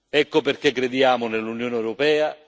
Ecco perché crediamo nell'Unione europea